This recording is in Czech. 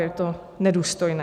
Je to nedůstojné.